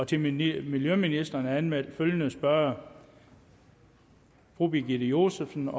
til miljøministeren er anmeldt følgende spørgere birgitte josefsen